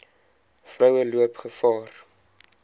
vroue loop gevaar